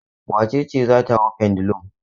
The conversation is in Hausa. Wace ce za ta hau pendulum?